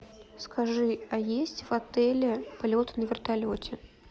скажи а есть в отеле полет на вертолете